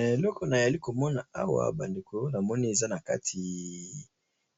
Eloko na yali komona awa ba ndeko na moni eza na kati